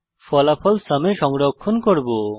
ফলাফল সুম এ সংরক্ষণ করব